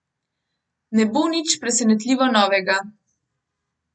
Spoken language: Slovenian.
Ne bo nič presenetljivo novega.